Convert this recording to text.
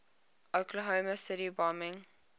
oklahoma city bombing